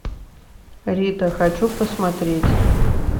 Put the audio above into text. рита хочу посмотреть